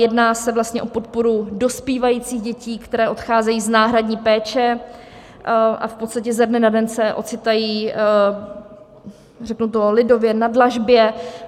Jedná se vlastně o podporu dospívajících dětí, které odcházejí z náhradní péče a v podstatě ze dne na den se ocitají, řeknu to lidově, na dlažbě.